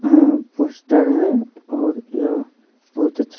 अ poster है और यह बहुत अच्छा--